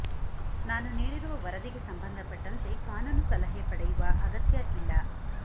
ನಾನು ನೀಡಿರುವ ವರದಿಗೆ ಸಂಬಂಧಪಟ್ಟಂತೆ ಕಾನೂನು ಸಲಹೆ ಪಡೆಯುವ ಅಗತ್ಯ ಇಲ್ಲ